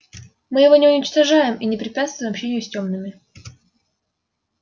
мы его не уничтожаем и не препятствуем общению с тёмными